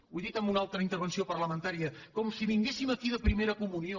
ho he dit en una altra intervenció parlamentària com si vinguéssim aquí de primera comunió